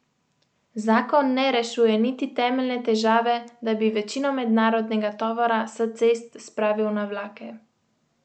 Zakon ne rešuje niti temeljne težave, da bi večino mednarodnega tovora s cest spravil na vlake.